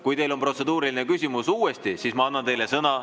Kui teil on protseduuriline küsimus, siis ma annan teile sõna.